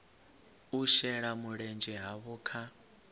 u shela mulenzhe havho kha